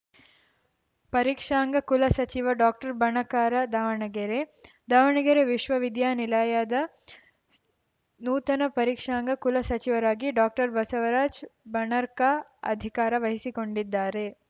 ಪರೀಕ್ಷಾಂಗ ಕುಲ ಸಚಿವ ಡಾಕ್ಟರ್ಬಣಕಾರ ದಾವಣಗೆರೆ ದಾವಣಗೆರೆ ವಿಶ್ವ ವಿದ್ಯಾನಿಲಯದ ನೂತನ ಪರೀಕ್ಷಾಂಗ ಕುಲ ಸಚಿವರಾಗಿ ಡಾಕ್ಟರ್ ಬಸವರಾಜ ಬಣರ್ಕಾ ಅಧಿಕಾರ ವಹಿಸಿಕೊಂಡಿದ್ದಾರೆ